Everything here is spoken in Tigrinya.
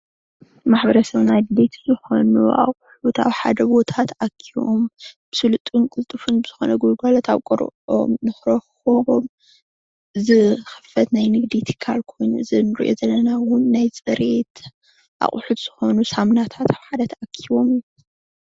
ንማሕበረሰብና ኣድለይቲ ዝኾኑ ኣቁሑት ኣብ ሓደ ቦታ ተኣኪቦም ብሱሉጥን ቅልጡፍን ብዝኾነ ግልጋሎት ኣብ ቀረብኦም ንኽረኽብዎም ዝኽፈት ናይ ንግዲ ትካል ኾይኑ እዚ እንሪኦ ዘለና ውን ናይ ፅሬት ንንርኢኣለና።